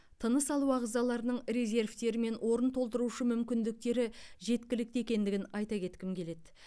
тыныс алу ағзаларының резервтері мен орын толтырушы мүмкіндіктері жеткілікті екендігін айта кеткім келеді